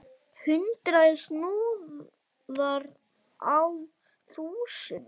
Hundrað snúðar á þúsund!